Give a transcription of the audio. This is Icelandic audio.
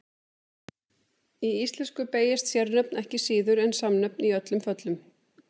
Í íslensku beygjast sérnöfn ekki síður en samnöfn í öllum föllum.